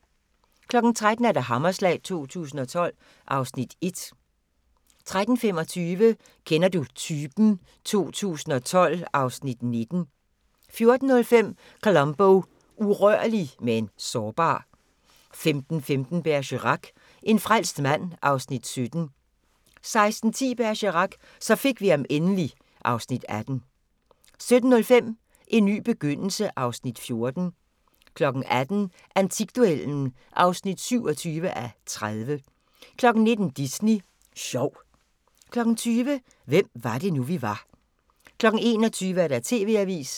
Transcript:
13:00: Hammerslag 2012 (Afs. 1) 13:25: Kender du typen? 2012 (Afs. 19) 14:05: Columbo: Urørlig – men sårbar 15:15: Bergerac: En frelst mand (Afs. 17) 16:10: Bergerac: Så fik vi ham endelig (Afs. 18) 17:05: En ny begyndelse (Afs. 14) 18:00: Antikduellen (27:30) 19:00: Disney Sjov 20:00: Hvem var det nu, vi var 21:00: TV-avisen